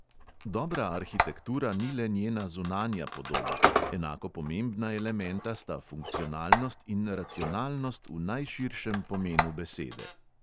Dobra arhitektura ni le njena zunanja podoba, enako pomembna elementa sta funkcionalnost in racionalnost v najširšem pomenu besede.